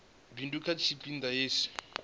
bindu kha tshipi ḓa hetshi